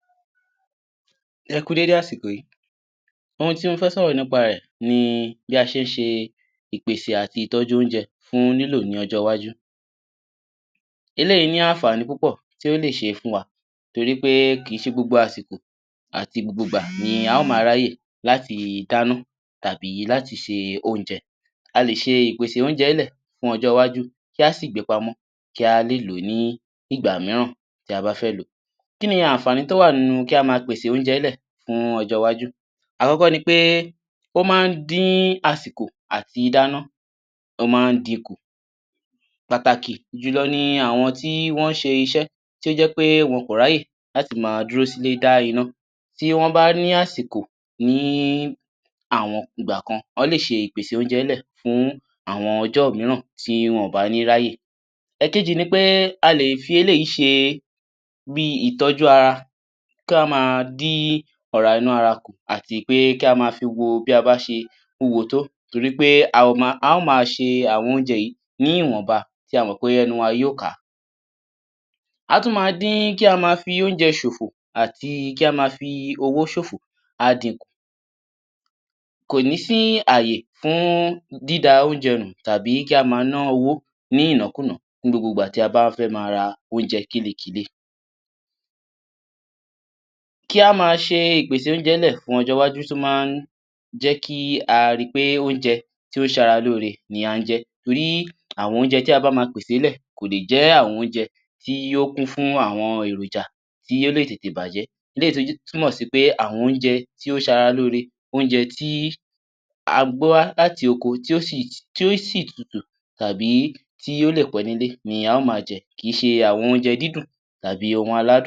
Ẹ kú dédé àsìkò yìí ohun tí mó ma sọ̀rọ̀ nípa rẹ̀ fún wa ní ìléra ọpọlọ eléyìí túmọ̀ sì ohun tí ènìyàn bá ń rò tàbí ohun tí ó gbé sí ọkàn tí ó lè ṣe okùnfà tàbí tí ó lè ní ohun tí ó ṣe nípa bí a ṣé ń bá àwọn ará àti ọ̀rẹ́ bí a ṣe ń báwọn lò ní àwùjọ. Eléyìí máa ń fa bí a ṣé ń ronú bí o bá ṣe rí lára wa ti ènìyàn bá bá ra wa sọ̀rọ̀ tàbí bí a ṣe ń wùwà sì àwọn ènìyàn nígbà tí a bá ń báwọn ṣe bíí kí a ma ṣíṣe tàbí kí a ma ṣeré bí gbogbo rẹ̀ bí ó ṣe jẹyọọ papọ̀ ní àwùjọ òhun ni a fẹ sọ̀rọ̀ nípa rẹ̀ lórí kíni àwọn ohun tí ìléra èmí àti ọkàn àti ọpọlọ kíni ohun tí ó pín sí. Ó pín sí ọ̀nà oríṣiríṣi àkọ́kọ́ tí ó ma sọ ni títí èmí wa yìí bí a ṣé ń ṣe bí a ṣe ń dárò tàbí ibẹ̀rù tàbí bí a ṣe ń ṣe wàhálà tí à ń ṣe ní àwùjọ àkọ́kọ́ nìyẹn ìkejì ni titi ọpọlọ eléyìí ó túmọ̀ sí àwọn èrò ọkàn wa ohun tí a ń rò tí ọkàn wa fi ń mọ́ tàbí bí a ṣe ń ṣe àwọn iṣẹ́ tí a ń ṣe bí a ṣe ń ṣe àwọn ìpínnu tí ó lè fa ohun míì ni ayé wa yálà èyí tó da tàbí èyí tí kò bá da bí a tún ṣe ń ṣe àwọn ìpínnu tí ó lè fa tí ó lè bá àwọn ẹlòmíràn tí ó lè báwọn wí ìkẹta ibè ni bí a ṣe ń rìn tàbí bá ọ̀rẹ́ àbí ará bí a ṣe ń báwọn lò ní àwùjọ ìkẹ́rin ibẹ̀ ni bí a ṣe ń ṣe tí àjálù tàbí ohun tí a kò bá fẹ́ bá ṣẹlẹ̀ sí wa bí a ṣe ń gbéra wa dìde látàrí pé ohun tí a kò bá fẹ́ kó ṣẹlẹ̀ kíni àwọn ohun tí ó yẹ kí a ma ṣe kí a lè ní ìlera tó péye fún ọpọlọ wá àkọ́kọ́ ni pé a gbọ́dọ̀ gbìyànjú kí a má jẹ ohun tí ó ṣe ara lóre tí ó sìlè ṣe àǹfààní fún ọpọlọ wa ìkejì ni pé ká rí pé a sùn nígbà tí ó yẹ ká sùn ẹ̀kẹ́ta kí a fún ara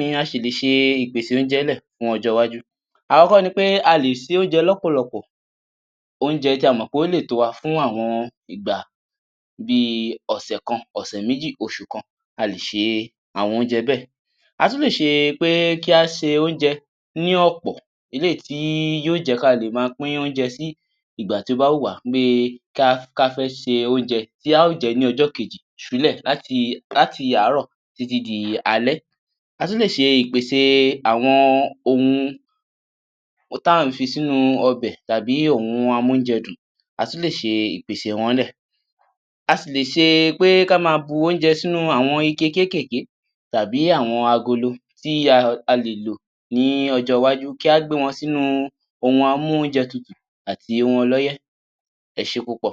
ní ìsínmi kó mà jẹ́ iṣẹ́ iṣẹ́ iṣẹ́ nìkan ni a ó ma ṣe ní gbogbo ìgbà ìkẹ́rin tí a rí ní kí a ma ṣe ki a ma fi ìfẹ́ hàn sí àwọn ènìyàn tí ó wà ní àwùjọ wa kí a ma báwọn ṣe kí a Má báwọn ṣeré kí a má báwọn ṣiṣẹ́ tàbí kí a má báwọn sọ̀rọ̀ eléyìí tí yóò ṣe àǹfààní fún ọpọlọ wa ẹ ṣé púpọ̀.